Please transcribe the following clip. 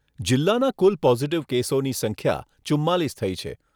જિલ્લાના કુલ પોઝીટીવ કેસોની સંખ્યા ચુંમાલીસ થઈ છે.